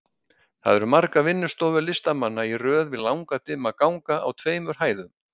Þar eru margar vinnustofur listamanna í röð við langa dimma ganga á tveimur hæðum.